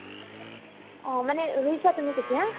অ, মানে ৰুইছা তুমি তেতিয়া